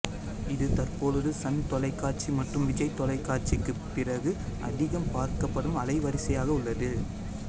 இது தற்பொழுது சன் தொலைக்காட்சி மற்றும் விஜய் தொலைக்காட்சிக்கு பிறகு அதிகம் பார்க்கப்படும் அலைவரிசையாக உள்ளது